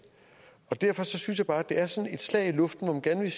derfor synes jeg bare at det er sådan et slag i luften når man gerne vil